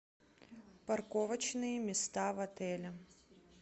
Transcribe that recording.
парковочные места в отеле